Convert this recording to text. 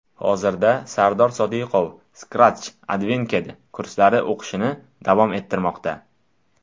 Hozirda Sardor Sodiqov Scratch Advanced kurslarida o‘qishini davom ettirmoqda.